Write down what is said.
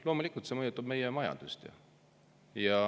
Loomulikult mõjutab see meie majandust.